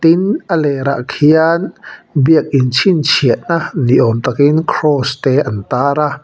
tin a lêr ah khian biakin chhinchhiahna ni awm takin cross te an tar a.